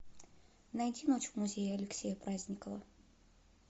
найти ночь в музее алексея праздникова